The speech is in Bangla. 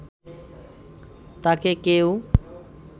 তাকে কেউ